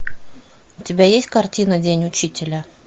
у тебя есть картина день учителя